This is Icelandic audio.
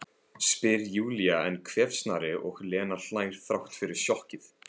spyr Júlía enn hvefsnari og Lena hlær þrátt fyrir sjokkið.